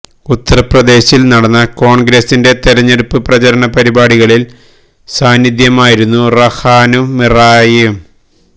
ഉത്തര്പ്രദേശില് നടന്ന കോണ്ഗ്രസിന്റെ തെരഞ്ഞെടുപ്പ് പ്രചരണ പരിപാടികളില് സാന്നിധ്യമായിരുന്നു റഹാനും മിറായയും